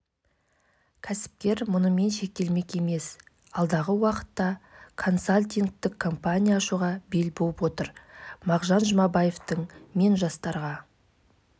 біз емхана асхана жасадық сыртында панельді дуалдар болады сол панельді дуалдың ішінде трансформалы жататын орны